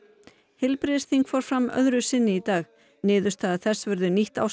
heilbrigðisþing fór fram öðru sinni í dag niðurstaða þess verður nýtt ásamt